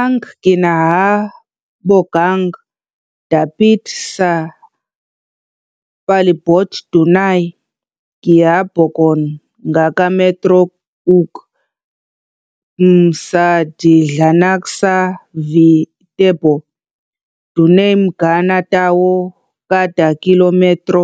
Ang kinahabogang dapit sa palibot dunay gihabogon nga ka metro ug km sa sidlakan sa Viterbo. Dunay mga ka tawo kada kilometro